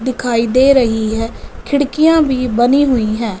दिखाई दे रही है खिड़कियां भी बनी हुई हैं।